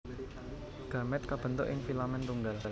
Gamèt kabentuk ing filamen tunggal